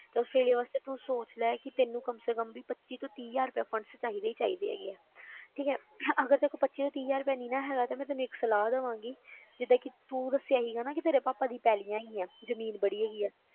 ਤਾਂ ਆਸਟ੍ਰੇਲੀਆ ਵਾਸਤੇ ਤੂੰ ਸੋਚ ਲੈ ਕਿ ਤੈਨੂੰ ਕਮ ਸੇ ਕਮ ਵੀ ਪੱਚੀ ਤੋਂ ਤੀਹ ਹਜ਼ਾਰ ਰੁਪਇਆ funds ਚਾਹੀਦੇ ਹੀ ਚਾਹੀਦੇ ਹੈਗੇ ਆ ਠੀਕ ਹੈ ਅਗਰ ਤੇਰੇ ਕੋਲ ਪੱਚੀ ਤੋਂ ਤੀਹ ਹਜ਼ਾਰ ਰੁਪਇਆ ਨਹੀਂ ਨਾ ਹੈਗਾ, ਤੇ ਮੈਂ ਤੈਨੂੰ ਇੱਕ ਸਲਾਹ ਦੇਵਾਂਗੀ ਜਿੱਦਾਂ ਕਿ ਤੂੰ ਦੱਸਿਆ ਸੀਗਾ ਨਾ ਕਿ ਤੇਰੇ ਪਾਪਾ ਦੀ ਪੈਲੀਆਂ ਹੈਗੀਆਂ ਜ਼ਮੀਨ ਬੜੀ ਹੈਗੀ ਹੈ,